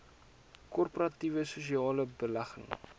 korporatiewe sosiale belegging